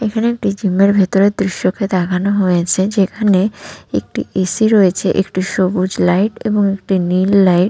এখানে একটি জিমের এর ভিতরের দৃশ্য কে দেখানো হয়েছে যেখানে একটি এ.সি. রয়েছে একটু সবুজ লাইট এবং একটি নীল লাইট --